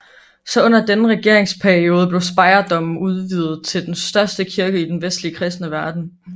Så under denne regeringsperiode blev Speyerdomen udvidet til den største kirke i den vestlige kristne verden